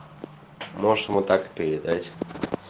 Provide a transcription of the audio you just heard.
можешь ему так и передать